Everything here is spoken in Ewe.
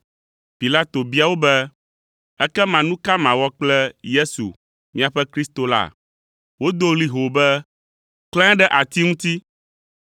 Pilato bia wo be, “Ekema nu ka mawɔ kple Yesu, miaƒe Kristo la?” Wodo ɣli hoo be, “Klãe ɖe ati ŋuti!”